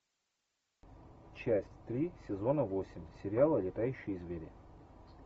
часть три сезона восемь сериала летающие звери